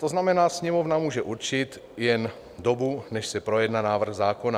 To znamená, Sněmovna může určit jen dobu, než se projedná návrh zákona.